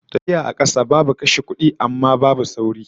Tafiya a kasa babu kashe kudi, amma babu sauri